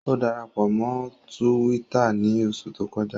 O darapọ mọ Túwìtá ni oṣu to kọja